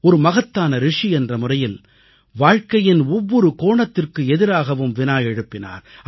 ஒரு மகத்தான ரிஷி என்ற முறையில் வாழ்க்கையின் ஒவ்வொரு கோணத்திற்கு எதிராகவும் வினா எழுப்பினார்